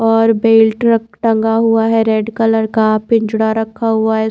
और बेल्ट र टंगा हुआ है रेड कलर का पिंजरा रखा हुआ है।